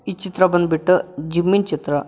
ಈ ಚಿತ್ರ ಬಂದ್ಬಿಟ್ಟ ಜಿಮ್ಮಿನ್ ಚಿತ್ರ.